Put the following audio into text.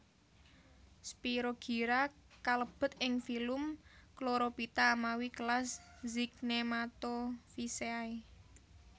Spirogyra kalebet ing filum Chlorophyta mawi kelas Zygnematophyceae